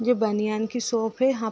ये बनियान की शॉप है यहाँ प --